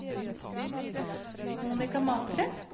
Monika Matre